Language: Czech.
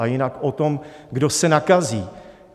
A jinak o tom, kdo se nakazí.